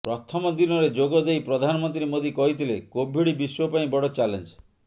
ପ୍ରଥମ ଦିନରେ ଯୋଗ ଦେଇ ପ୍ରଧାନମନ୍ତ୍ରୀ ମୋଦି କହିଥିଲେ କୋଭିଡ୍ ବିଶ୍ୱ ପାଇଁ ବଡ଼ ଚ୍ୟାଲେଞ୍ଜ